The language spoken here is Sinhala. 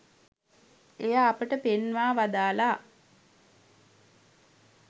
එය අපට පෙන්වා වදාළා